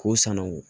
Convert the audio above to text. K'o sanango